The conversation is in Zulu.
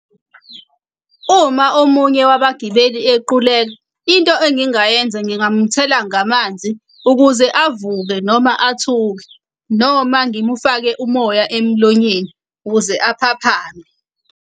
Uma omunye wabagibeli equleka into engingayenza ngingamthela ngamanzi ukuze avuke noma athuke, noma ngimufake umoya emlonyeni ukuze aphaphame.